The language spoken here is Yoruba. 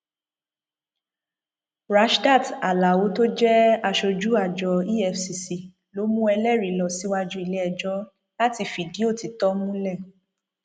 rashdát alao tó jẹ aṣojú àjọ efcc ló mú èlérí lọ síwájú iléẹjọ láti fìdí òtítọ múlẹ